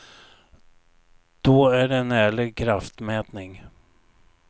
Då är det en ärlig kraftmätning.